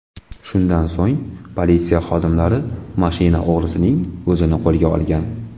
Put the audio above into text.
Shundan so‘ng politsiya xodimlari mashina o‘g‘risining o‘zini qo‘lga olgan.